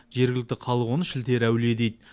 жергілікті халық оны шілтері әулие дейді